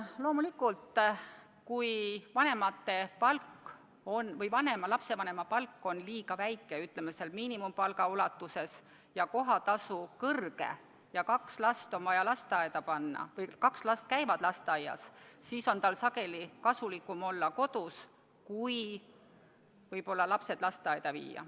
Loomulikult, kui lapsevanema palk oleks liiga väike, ütleme, miinimumpalga ringis, ja kohatasu on kõrge ja kaks last on vaja lasteaeda panna või kaks last käivad lasteaias, siis on tal sageli kasulikum olla kodus kui lapsed lasteaeda panna.